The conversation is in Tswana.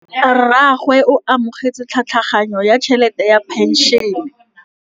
Rragwe o amogetse tlhatlhaganyô ya tšhelête ya phenšene.